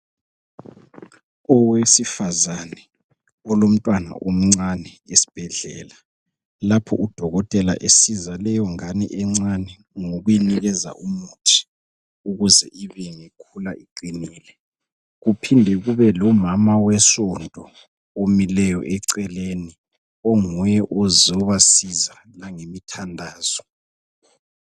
Owesifazane olomntwana omncane esibhedlela lapho udokotela esiza leyo ngane encane ngokuyinikeza umuthi ukuze ibe ngekhula iqinile, kuphinde kube lomama wesonto omileyo eceleni onguye ozobasiza langemithandazo.